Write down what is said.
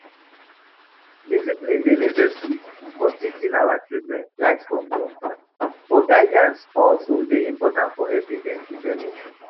Discipline dey necessary for teaching our children right from wrong, but guidance also dey important for helping dem develop.